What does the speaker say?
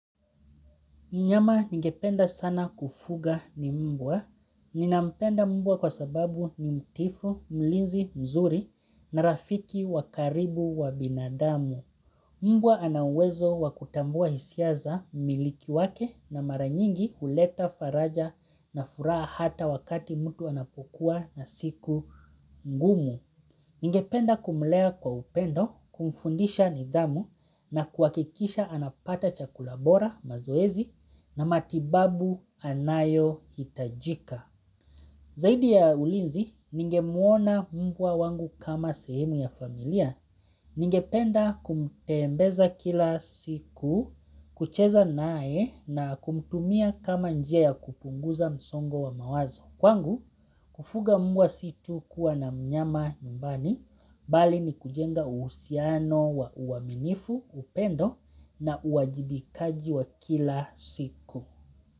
Nyama ningependa sana kufuga ni mbwa. Ninampenda mbwa kwa sababu ni mtiifu, mlinzi, mzuri na rafiki wa karibu wa binadamu. Mbwa anawezo wakutambua hisia za mmiliki wake na mara nyingi kuleta faraja na furaha hata wakati mtu anapokua na siku ngumu. Ningependa kumlea kwa upendo, kumfundisha nidhamu na kuhakikisha anapata chakula bora, mazoezi na matibabu anayohitajika. Zaidi ya ulinzi, ningemwona mbwa wangu kama sehemu ya familia. Ningependa kumteembeza kila siku, kucheza naye na kumtumia kama njia kupunguza msongo wa mawazo. Kwangu, kufuga mbwa si tu kuwa na mnyama nyumbani. Mbali ni kujenga uhusiano wa uaminifu, upendo na kuwajibikaji jua kila siku.